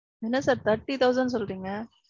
என்ன sir Thirty thousand சொல்றீங்க?